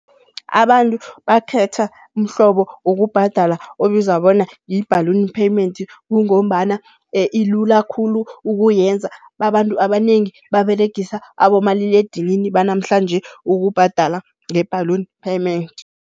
Abantu bakhetha umhlobo wokubhadala obizwa bona yi-balloon payment kungombana ilula khulu ukuyenza, abantu abanengi baberegisa abomaliledinini banamhlanje ukubhadala nge-balloon payment.